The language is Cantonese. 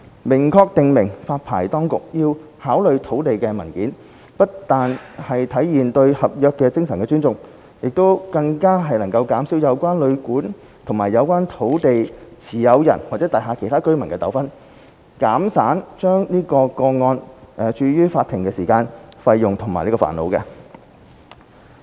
明確訂明發牌當局要考慮土地文件，不但體現對合約精神的尊重，更能減少有關旅館與有關土地持有人或大廈其他居民的糾紛，減省將個案訴諸法庭的時間、費用和煩惱。